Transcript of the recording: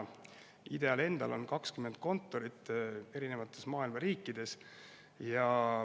IDEA‑l endal on 20 kontorit erinevates maailma riikides.